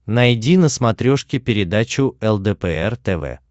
найди на смотрешке передачу лдпр тв